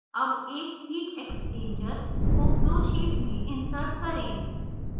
अब एक heat exchanger को flowsheet में insert करें